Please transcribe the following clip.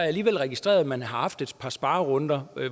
alligevel registreret at man har haft et par sparerunder